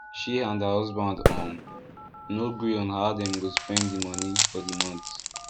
she and her husband um no gree on how dem go spend the money for the month